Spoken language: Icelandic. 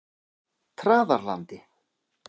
Traðarlandi